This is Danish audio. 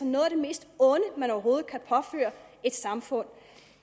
noget af det mest onde man overhovedet kan påføre et samfund